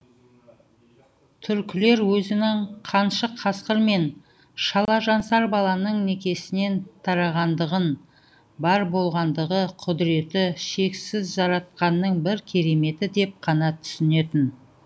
түркілер өзінің қаншық қасқыр мен шалажансар баланың некесінен тарағандығын бар болғандығы құдіреті шексіз жаратқанның бір кереметі деп қана түсінетін